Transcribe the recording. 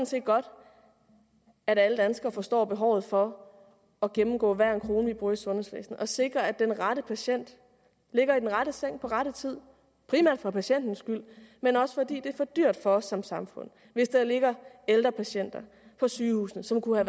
set godt at alle danskere forstår behovet for at gennemgå hver en krone vi bruger i sundhedsvæsenet så vi sikrer at den rette patient ligger i den rette seng på rette tid primært for patientens skyld men også fordi det er for dyrt for os som samfund hvis der ligger ældre patienter på sygehusene som kunne